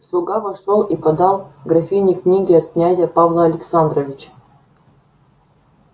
слуга вошёл и подал графине книги от князя павла александровича